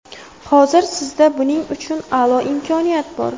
Hozir sizda buning uchun a’lo imkoniyat bor.